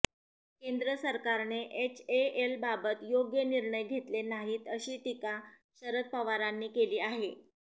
केंद्र सरकारने एचएएलबाबत योग्य निर्णय घेतले नाहीत अशी टीका शरद पवारांनी केली आहे